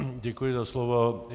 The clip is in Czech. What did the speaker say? Děkuji za slovo.